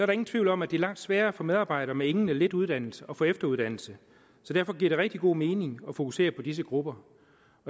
ingen tvivl om at det er langt sværere for medarbejdere med ingen eller lidt uddannelse at få efteruddannelse så derfor giver det rigtig god mening at fokusere på disse grupper